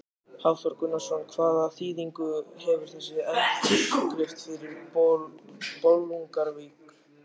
Hafþór Gunnarsson: Hvaða þýðingu hefur þessi undirskrift fyrir Bolungarvík?